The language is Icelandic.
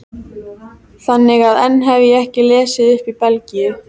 Þannig að enn hef ég ekki lesið upp í Belgíu.